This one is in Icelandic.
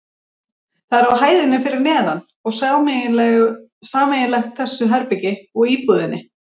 Það er á hæðinni fyrir neðan og sameiginlegt þessu herbergi og íbúðinni.